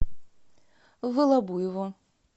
волобуеву